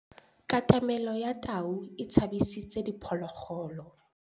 Katamêlô ya tau e tshabisitse diphôlôgôlô.